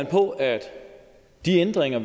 på at de ændringer